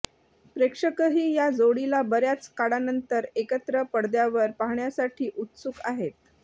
प्रेक्षकही या जोडीला बऱ्याच काळानंतर एकत्र पडद्यावर पाहण्यासाठी उत्सुक आहेत